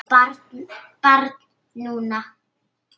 Barn núna.